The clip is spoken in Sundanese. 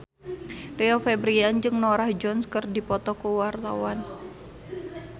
Rio Febrian jeung Norah Jones keur dipoto ku wartawan